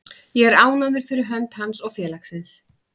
Ég er ánægður fyrir hönd hans og félagsins.